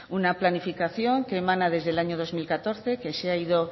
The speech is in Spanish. una planificación que emana desde el año dos mil catorce que se ha ido